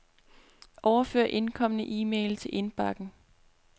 Overfør indkomne e-mail til indbakken.